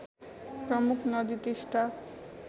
प्रमुख नदी टिस्टा